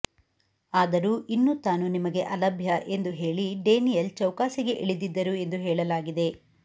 ಆದರೂ ಇನ್ನು ತಾನು ನಿಮಗೆ ಅಲಭ್ಯ ಎಂದು ಹೇಳಿ ಡೇನಿಯಲ್ ಚೌಕಾಸಿಗೆ ಇಳಿದಿದ್ದರು ಎಂದು ಹೇಳಲಾಗಿದೆ